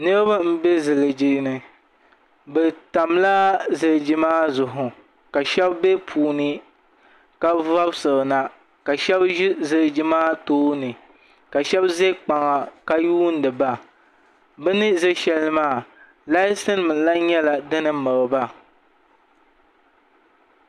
Niraba n bɛ ziliji ni bi tamla ziliji maa zuɣu ka shab bɛ puuni ka vobisirina ka shab ʒi ziliji maa tooni ka shab ʒɛ kpaŋa ka yuundiba bini ʒɛ shɛli maa laati nim nyɛla din miriba